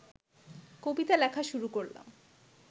কবিতা লেখা শুরু করলাম